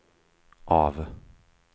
av